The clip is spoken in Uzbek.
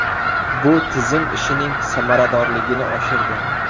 Bu tizim ishining samaradorligini oshirdi.